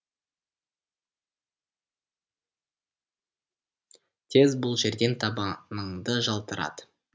тез бұл жерден табаныңды жалтырат